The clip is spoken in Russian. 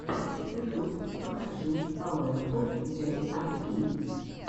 ютуб покажи пауэфул джей ар и